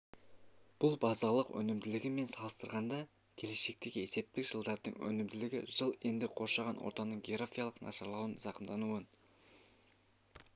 бұл базалық өнімділігі мен салыстырғанда келешектегі есептік жылдардың өнімділігі жылы енді қоршаған ортаның географиялық нашарлауынан зақымдануын